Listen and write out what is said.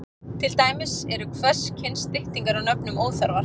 Til dæmis eru hvers kyns styttingar á nöfnum óþarfar.